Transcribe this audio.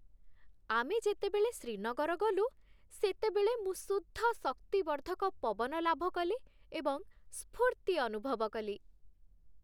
ଆମେ ଯେତେବେଳେ ଶ୍ରୀନଗର ଗଲୁ, ସେତେବେଳେ ମୁଁ ଶୁଦ୍ଧ ଶକ୍ତିବର୍ଦ୍ଧକ ପବନ ଲାଭ କଲି ଏବଂ ସ୍ଫୁର୍ତ୍ତି ଅନୁଭବ କଲି।